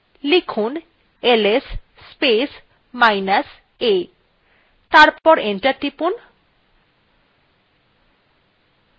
লেখা যাক ls space minus a তারপর enter টিপুন